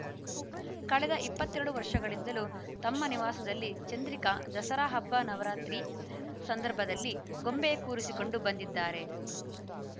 ಕಳೆದ ಇಪ್ಪತ್ತ್ ಎರಡು ವರ್ಷಗಳಿಂದಲೂ ತಮ್ಮ ನಿವಾಸದಲ್ಲಿ ಚಂದ್ರಿಕಾ ದಸರಾ ಹಬ್ಬ ನವರಾತ್ರಿ ಸಂದರ್ಭದಲ್ಲಿ ಗೊಂಬೆ ಕೂರಿಸಿಕೊಂಡು ಬಂದಿದ್ದಾರೆ